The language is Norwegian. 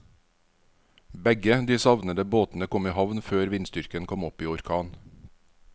Begge de savnede båtene kom i havn før vindstyrken kom opp i orkan.